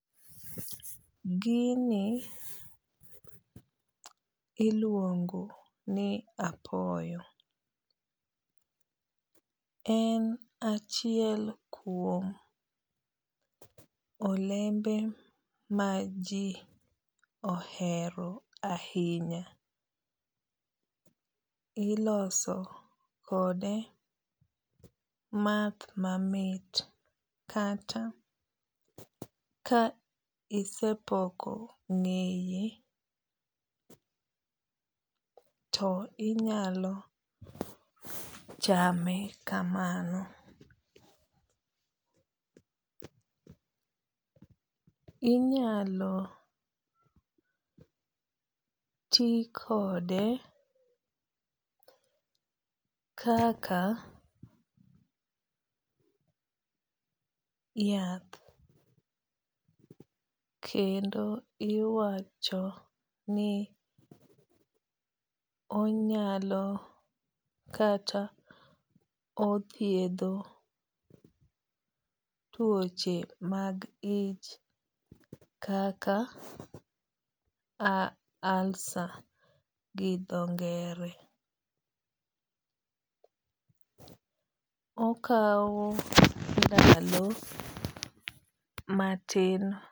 Gini iluongo ni apoyo. En achiel kuom olembe ma ji ohero ahinya. Iloso kode math mamit kata ka isepoko ng'eye to inyalo chame kamano. Inyalo ti kode kaka yath kendo iwacho ni onyalo kata othiedho tuoche mag ich kaka ulcer gi dho ngere. Okaw ndalo matin.